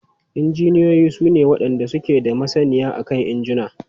Injiniyoyin su ne wadanda suke da masaniya akan injuna.